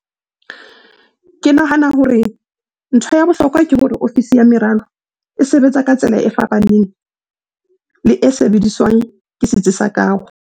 "Ke nahana hore ntho ya bohlokwa ke hore ofisi ya meralo e sebetsa ka tsela e fapaneng le e sebediswang ke setsi sa kaho."